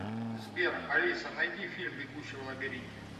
сбер алиса найди фильм бегущий в лабиринте